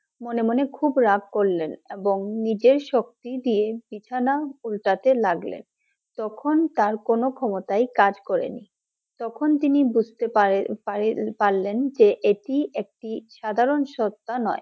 মনে মনে খুব রাগ করলেন এবং নিজের শক্তি দিয়ে বিছানা উল্টাতে লাগলেন, তখন তার কোনো ক্ষমতাই কাজ করে নি, তখন তিনি বুঝতে পারলেন যে এটি একটি সাধারণ সস্তা নয়